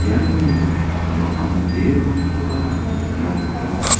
ia bang·a manderangkoba nikna gita--